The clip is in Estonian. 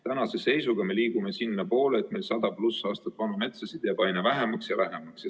Tänase seisuga me liigume sinnapoole, et meil 100+ aastat vana metsa jääb aina vähemaks ja vähemaks.